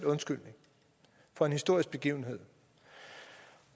undskyldning for en historisk begivenhed